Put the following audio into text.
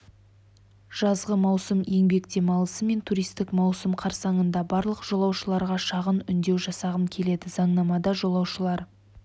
жазғы маусым еңбек демалысы мен туристік маусым қарсаңында барлық жолаушыларға шағын үндеу жасағым келеді заңнамада жолаушылар